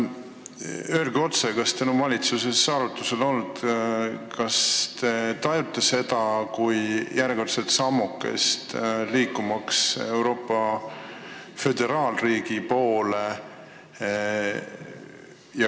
Öelge otse, kas teil on valitsuses arutusel olnud, kas te tajute seda kui järjekordset sammukest Euroopa föderaalriigi poole!